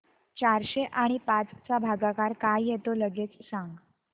चारशे आणि पाच चा भागाकार काय येतो लगेच सांग